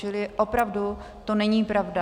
Čili opravdu to není pravda.